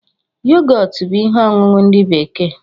Yogọtu bú ihe ọṅụṅụ ndị bekee